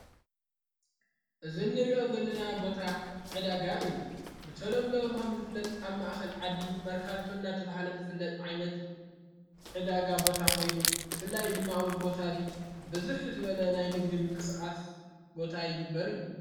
እዝ እንርእኦት ዘለና ቦታ ዕዳጋ እዩ ብተሎምለዉኸም ዝፍለጥ ኣብ ማእኸል ዓዲ መርካቶናተብሃለ ዝፍለጥ ዓይነት ዕዳጋ ቦታ ኾይኑ ፍላይ ድማኣውዝ ቦታእዙ ብዙኅ ዝበለ ናይ ንግድም ቅስቓስ ቦታ ይግበር እዩ።